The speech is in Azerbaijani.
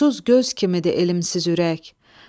Nursuz göz kimidir elmsiz ürək.